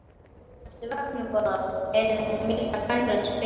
Ertu vöknuð góða? heyrði hún milda kvenrödd spyrja.